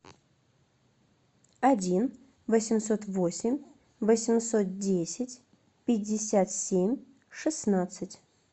один восемьсот восемь восемьсот десять пятьдесят семь шестнадцать